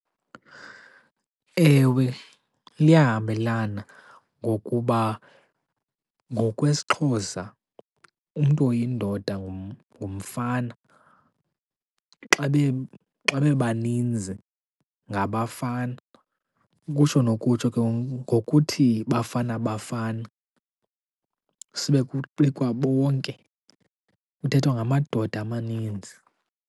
Ewe, liyahambelana ngokuba ngokwesiXhosa umntu oyindoda ngumfana. Xa bebaninzi ngabafana. Ukutsho nokutsho ke ngokuthi Bafana Bafana sibe kuqukwa bonke kuthethwa ngamadoda amaninzi.